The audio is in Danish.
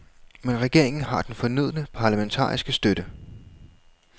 Men regeringen har den fornødne parlamentariske støtte.